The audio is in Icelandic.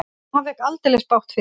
En hann fékk aldeilis bágt fyrir.